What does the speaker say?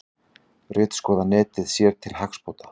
Ritskoða netið sér til hagsbóta